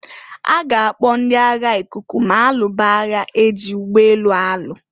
A ga-akpọ ndị agha ikuku ma alụba aya e ji ụgbọ elu alụ.